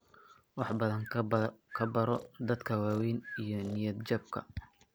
Wax badan ka baro dadka waaweyn iyo niyad-jabka.